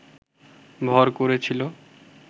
ভর করেছিল